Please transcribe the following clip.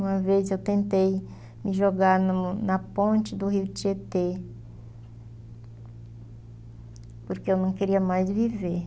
Uma vez eu tentei me jogar no na ponte do rio Tietê, porque eu não queria mais viver.